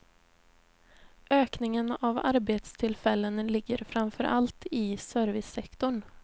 Ökningen av arbetstillfällen ligger framför allt i servicesektorn.